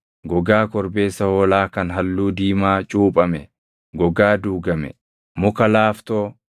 gogaa korbeessa hoolaa kan halluu diimaa cuuphame, gogaa duugame, muka laaftoo,